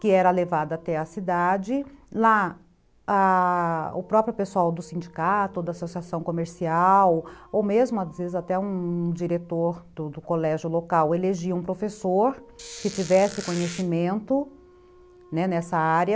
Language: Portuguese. que era levada até a cidade, lá a... o próprio pessoal do sindicato, da associação comercial, ou mesmo às vezes até um diretor do do colégio local, elegia um professor que tivesse conhecimento, né, nessa área,